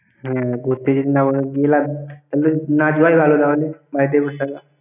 হ্যাঁ, ঘুরতে যদি না পারি তাহলে গিয়ে লাভ কি! না যাওয়াই ভালও তাহলে। বাড়িতে বসে থাকা।